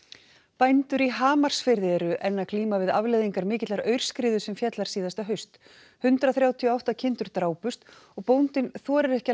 bændur í Hamarsfirði eru enn að glíma við afleiðingar mikillar aurskriðu sem féll þar síðasta haust hundrað þrjátíu og átta kindur drápust og bóndinn þorir ekki að